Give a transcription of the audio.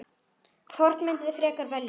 Hvort mynduð þið frekar velja?